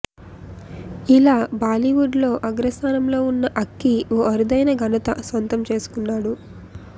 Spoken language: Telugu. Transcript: ఇలా బాలీవుడ్ లో అగ్రస్థానంలో ఉన్న అక్కి ఓ అరుదైన ఘనత సొంతం చేసుకున్నాడు